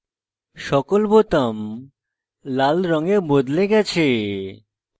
সকল বোতাম লাল রঙে বদলে গেছে